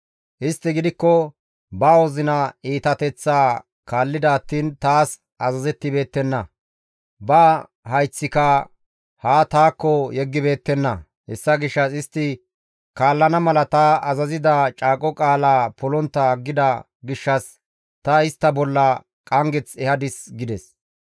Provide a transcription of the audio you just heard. Istti gidikko ba wozina iitateththaa kaallida attiin taas azazettibeettenna; ba hayththika haa taakko yeggibeettenna; hessa gishshas istti kaallana mala ta azazida caaqo qaala polontta aggida gishshas ta istta bolla qanggeth ehadis» gides.